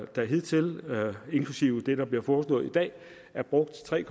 der hidtil inklusive det der bliver foreslået i dag er brugt tre